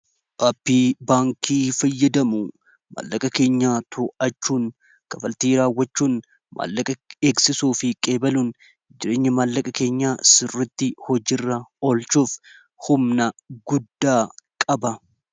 aappii baankii fayyadamu maallaqa keenya to'achuun kaffaltii raawwachuun maallaqa eegsisuu fi geejibuun jireenya maallaqa keenyaa sirritti hojiirra olchuuf humna guddaa qaba